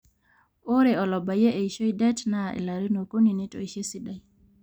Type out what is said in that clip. ore olabayie eishoi det naa ilarin okuni netoishe esidai